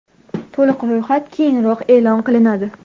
To‘liq ro‘yxat keyinroq e’lon qilinadi.